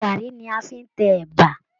Garri ní a fí n tẹ ẹ̀bà.